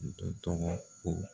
Dɔ tɔgɔ ko